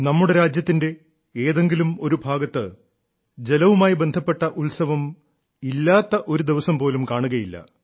നമ്മുടെ രാജ്യത്തിന്റെ ഏതെങ്കിലും ഒരു ഭാഗത്ത് ജലവുമായി ബന്ധപ്പെട്ട ഉത്സവം ഇല്ലാത്ത ഒരുദിവസം പോലും കാണുകയില്ല